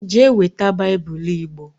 Jee weta Bible Igbo